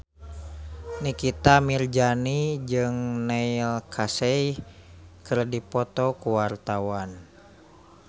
Nikita Mirzani jeung Neil Casey keur dipoto ku wartawan